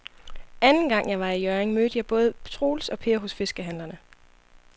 Anden gang jeg var i Hjørring, mødte jeg både Troels og Per hos fiskehandlerne.